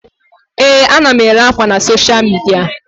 Ee, ana m ere ákwà na soshal midia.